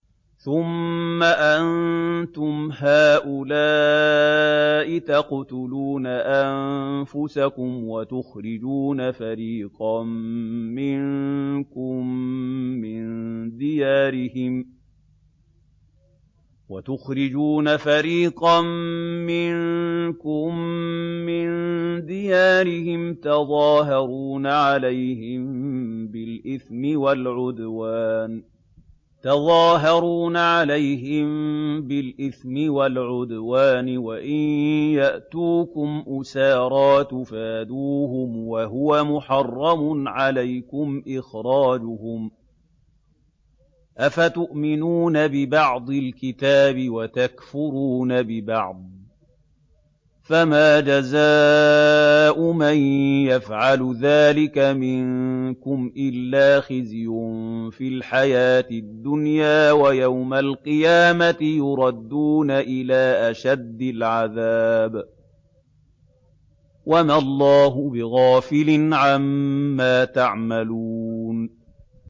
ثُمَّ أَنتُمْ هَٰؤُلَاءِ تَقْتُلُونَ أَنفُسَكُمْ وَتُخْرِجُونَ فَرِيقًا مِّنكُم مِّن دِيَارِهِمْ تَظَاهَرُونَ عَلَيْهِم بِالْإِثْمِ وَالْعُدْوَانِ وَإِن يَأْتُوكُمْ أُسَارَىٰ تُفَادُوهُمْ وَهُوَ مُحَرَّمٌ عَلَيْكُمْ إِخْرَاجُهُمْ ۚ أَفَتُؤْمِنُونَ بِبَعْضِ الْكِتَابِ وَتَكْفُرُونَ بِبَعْضٍ ۚ فَمَا جَزَاءُ مَن يَفْعَلُ ذَٰلِكَ مِنكُمْ إِلَّا خِزْيٌ فِي الْحَيَاةِ الدُّنْيَا ۖ وَيَوْمَ الْقِيَامَةِ يُرَدُّونَ إِلَىٰ أَشَدِّ الْعَذَابِ ۗ وَمَا اللَّهُ بِغَافِلٍ عَمَّا تَعْمَلُونَ